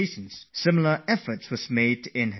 This is true for the neighbouring families as well